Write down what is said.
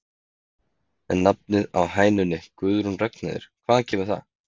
En nafnið á hænunni Guðrún Ragnheiður, hvaðan kemur það?